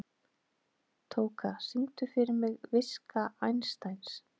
Tóka, syngdu fyrir mig „Viska Einsteins“.